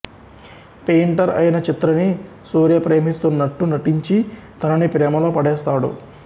painter ఐన చిత్రని సూర్య ప్రేమిస్తున్నట్టు నటించి తనని ప్రేమలో పడేస్తాడు